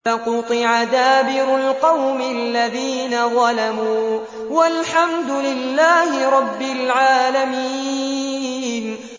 فَقُطِعَ دَابِرُ الْقَوْمِ الَّذِينَ ظَلَمُوا ۚ وَالْحَمْدُ لِلَّهِ رَبِّ الْعَالَمِينَ